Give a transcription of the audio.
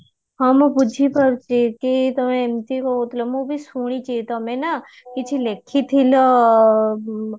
ହଁ ମୁଁ ବୁଝିପାରୁଛି କି ତମେ ଏମତି କହୁଥିଲ ମୁଁ ବି ଶୁଣିଚି ତମେ ନାଁ କିଛି ଲେଖିଥିଲ